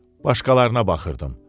Başqalarına baxırdım.